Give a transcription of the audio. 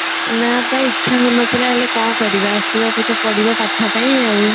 ନା ପା ଇଚ୍ଛା ହଉନଥିଲା ହେଲେ କଣ କରିବା ଆସିବାକୁ ତ ପଡିବ ପାଠ ପାଇଁ ଆଉ